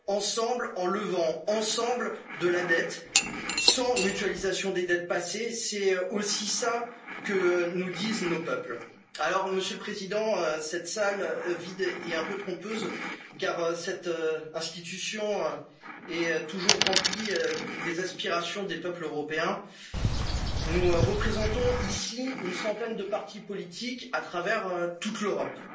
Investir ensemble en levant ensemble de la dette sans mutualisation des dettes passées. C'est aussi cela que nous disent nos peuples. Monsieur le Président, cette salle vide est un peu trompeuse car cette institution est toujours remplie des aspirations des peuples européens. Nous représentons ici une centaine de partis politiques à travers toute